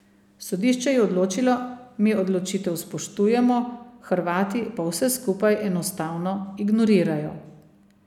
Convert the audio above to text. Sodišče je odločilo, mi odločitev spoštujemo, Hrvati pa vse skupaj enostavno ignorirajo.